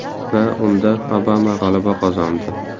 Va unda Obama g‘alaba qozondi!